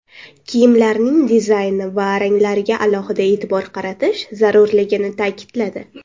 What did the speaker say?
Kiyimlarning dizayni va ranglariga alohida e’tibor qaratish zarurligini ta’kidladi.